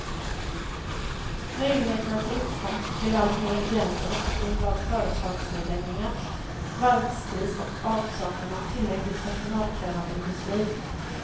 Möjligheterna till utkomst blev allt mer begränsade på grund av företagsnedläggningar, varvskris och avsaknaden av tillräckligt personalkrävande industri.